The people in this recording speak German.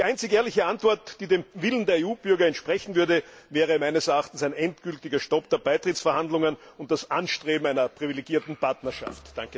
Die einzige ehrliche Antwort, die dem Willen der EU Bürger entsprechen würde, wäre meines Erachtens ein endgültiger Stopp der Beitrittsverhandlungen und das Anstreben einer privilegierten Partnerschaft.